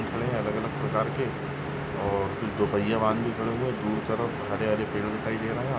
दिख रहे है अलग अलग प्रकार के और कुछ दो पहिये वाहन भी खडे है दूर तरफ हरे हरे पैड दिखाई दे रहे है।